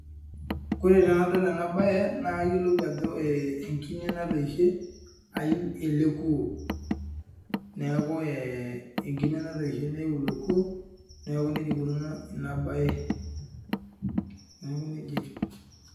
Ore tenadol ena bae naa kayiolou ajo enkine natoishe aiu ele kuo. Neeku enkine natoishe nei ilo kuo, neeku neija eikununo ina bae, neeku nija etiu